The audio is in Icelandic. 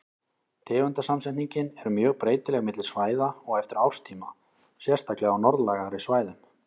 Tegundasamsetningin er mjög breytileg milli svæða og eftir árstíma, sérstaklega á norðlægari svæðum.